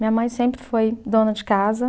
Minha mãe sempre foi dona de casa.